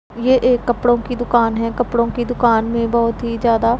ये एक कपड़ों की दुकान है कपड़ों की दुकान में बहोत ही ज्यादा--